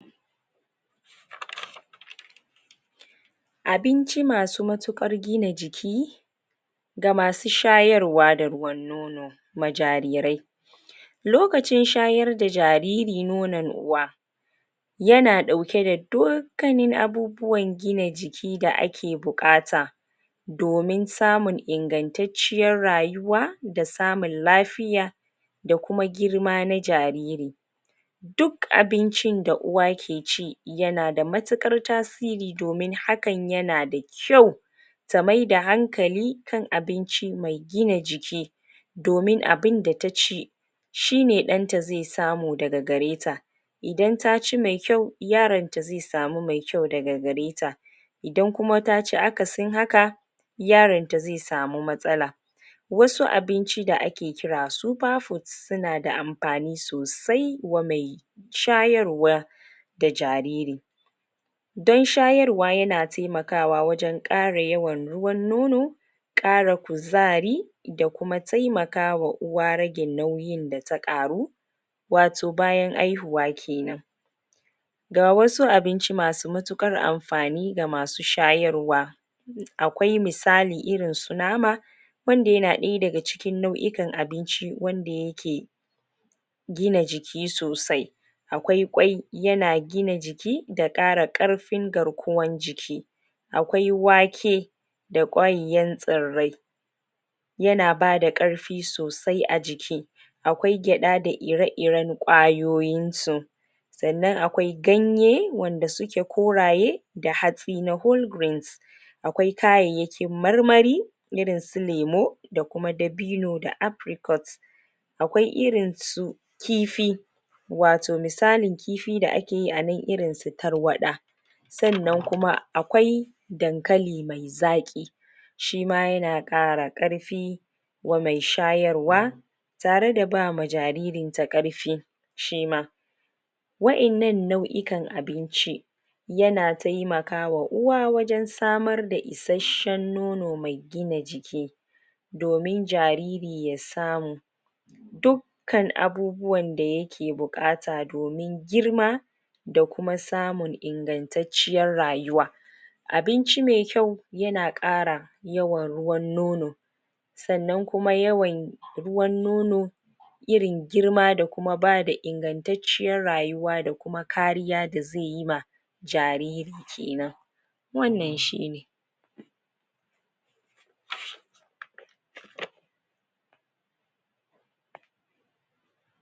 abinci masub matuƙar gina jiki ga masub shayarwa da ruwan nono na jarirai lokacin shayar da jariri nonon uwa yana ɗauke da dukkanin abubuwan jiki da ake buƙata domin samun ingantacciyar rayuwa da samun lafiya da kuma girma na jariri duk abincin da uwa ke ci yanada matuƙar tasiri domin hakan yanada kyau ta maida hankali kan abinci mai gina jiki domin abinda ta ci shine ɗanta zai samu daga gareta idan taci mai kyau yaronta zai samu mai kyau daga gareta idan kuma taci akasin haka yaronta zai samu matsala wasu abinci da ake kira super food sunada amfani sosai kuma mai shayarwa da jariri don shayarwa yana taimakawa wajen ƙara yawan ruwan nono ƙara kuzari da kuma taimakawa uwa ragin nauyindata ƙaru wato bayan haihuwa kenan gawasu abinci masu matuƙar amfani da masu shayarwa akwai misali irinsu nama wanda yana ɗaya daga cikin nau'ikan abinci wanda yake gina jiki sosai akwai ƙwai yana gina jiki da ƙara ƙarfin garkuwan jiki akwai wake da kwaiyan tsirrai yana bada ƙarfi sosai a jiki akwai gyada da ire-iren kwayoyinsu sannan akwai ganye wanda suke koraye da hatsi na gurbin akwai kayyakin marmari irinsu lemo da kuma dabino da agric oats akwai irinsu kifi wato misalin kifi da ake yi anan irinsu tarwaɗa sannan kuma akwai dankali mai zaƙi shima yana ƙara ƙarfi wa mai shayarwa tareda bama jaririnta ƙarfi shima waƴannan nau'ikan abinci yana taimakawa uwa wajen samarda isasshen nono mai gina jiki domin jariri ya samu dukkan abubuwanda yake buƙata domin girma da kuma samun ingantacciyar rayuwa abinci mai kyau yana ƙara yawan ruwan nono sannan kuma yawan ruwan nono irin girma da kuma bada ingantacciyar rayuwa da kuma kariya da zai yiwa jariri kenan wannan shine